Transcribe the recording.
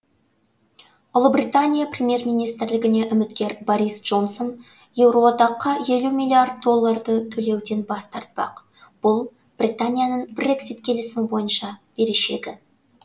ұлыбритания премьер министрлігіне үміткер борис джонсон еуроодаққа елу миллиард долларды төлеуден бас тартпақ бұл британияның брексит келісімі бойынша берешегі